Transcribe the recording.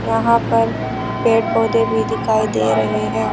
यहां पर पेड़ पौधे भी दिखाई दे रहे हैं।